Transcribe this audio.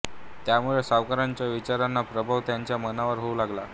त्यामुळे सावरकरांच्या विचारांचा प्रभाव त्यांच्या मनावर होऊ लागला